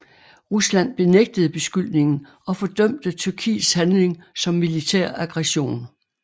Rusland benægtede beskyldningen og fordømte Tyrkiets handling som militær aggression